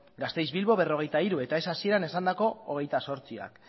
gasteiz bilbo berrogeita hiru eta ez hasieran esandako hogeita zortziak